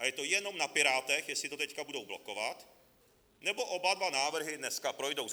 A je to jenom na Pirátech, jestli to teď budou blokovat, nebo oba dva návrhy dneska projdou.